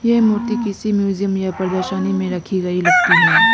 ये मूर्ति किसी म्यूजियम या प्रदर्शनी में रखी गई लगती है।